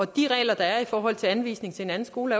de regler der er i forhold til anvisning til en anden skole